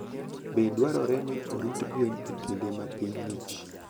Be dwarore ni orit gwen e kinde ma piny ng'ich?